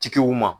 Tigiw ma